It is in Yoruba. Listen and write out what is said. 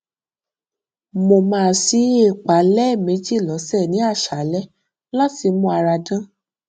mo máa ṣí èépá lẹẹmejì lọsẹ ní àṣálẹ láti mú ara dán